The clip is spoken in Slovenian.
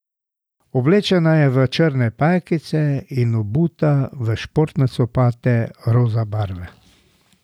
Oblečena je v črne pajkice in obuta v športne copate roza barve.